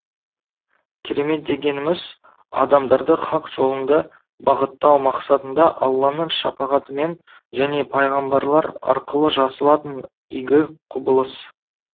керемет дегеніміз адамдарды хақ жолында бағыттау мақсатында алланың шапағатымен және пайғамбарлар арқылы жасалатын игі құбылыс